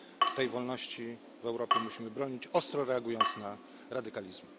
Tej wolności w Europie musimy bronić, ostro reagując na radykalizm.